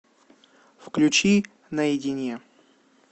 включи наедине